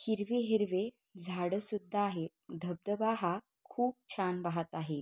हिरवे हिरवे झाड सुद्धा आहेत धबधबा हा खूप छान वाहत आहे.